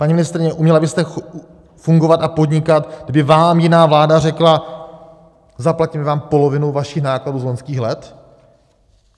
Paní ministryně, uměla byste fungovat a podnikat, kdyby vám jiná vláda řekla: Zaplatíme vám polovinu vašich nákladů z loňských let?